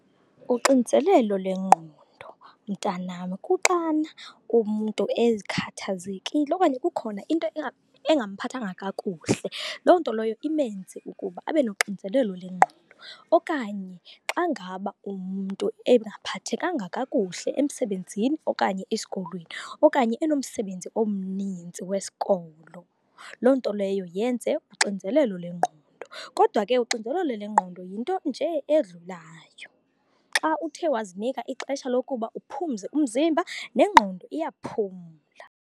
Uxinzelelo lengqondo, mntanam, kuxana umntu ezikhathazekile okanye kukhona into engamphathanga kakuhle, loo nto loyo imenze ukuba abe nonxinzelelo lengqondo. Okanye xa ngaba umntu engaphathekanga kakuhle emsebenzini okanye esikolweni, okanye enomsebenzi omninzi wesikolo, loo nto leyo yenze uxinzelelo lengqondo. Kodwa ke uxinzelelo lengqondo yinto nje edlulayo. Xa uthe wazinika ixesha lokuba uphumze umzimba nengqondo iyaphumla.